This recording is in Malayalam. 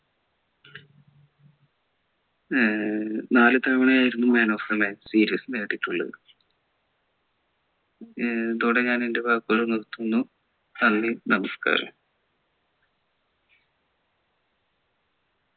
ഏർ നാല്‌ തവണ ആയിരുന്നു man of the series നേടിയിട്ടുള്ളത് ഏർ ഇതോടെ ഞാൻ എൻ്റെ വാക്കുകൾ നിര്ത്തുന്നു നന്ദി നമസ്കാരം